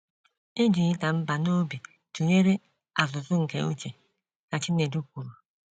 “ E ji ịda mbà n’obi tụnyere azụ̀zụ̀ nke uche, ” ka Chinedu kwuru.